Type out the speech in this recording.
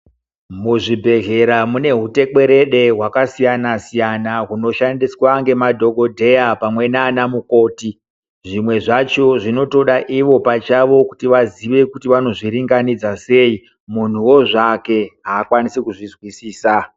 Muzvibhedhlera mune hutekwerede hwakasiyana siyana hunoshandiswa ngemadhokodheya pamwe nanamukoti zvimwe zvacho zvinotoda ivo pachavo kuti vazive kuti vanozviringanidza sei munhuwo zvake akwanisi kuzvizwisisa.